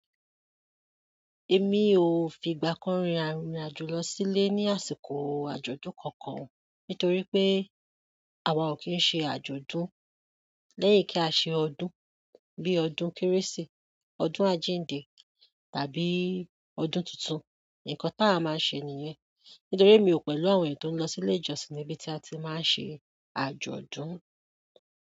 Èmi ò fìgbà kan rìnrìn àjò lọ sílé ní àsìkò àjọ̀dún kankan nítorí pé àwa ò kì ń ṣe àjọ̀dún lẹ́yìn kí á ṣe ọdún bíi ọdún kérésì, ọdún àjíǹde tàbí ọdún tuntun. Ǹkan táa máa ń ṣe nìyẹn. Nítorí mi ò pẹ̀lú àwọn èèyàn tó ń lọ sílé ìjọsìn níbi tí a ti máa ń ṣe àjọ̀dún.